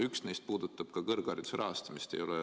Üks neist puudutab ka kõrghariduse rahastamist.